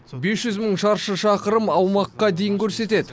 бес жүз мың шаршы шақырым аумаққа дейін көрсетеді